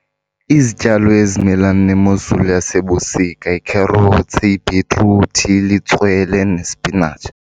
Izityalo ezimelena nemozulu yasebusika yikherothsi, yibhitruthi, litswele nesipinatshi.